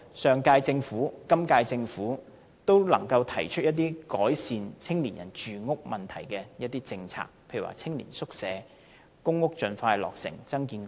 上屆和今屆政府也能夠提出改善青年人住屋問題的政策，例如青年宿舍、公屋盡快落成、增建公屋。